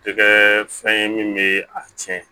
Tɛgɛ fɛn ye min bɛ a tiɲɛ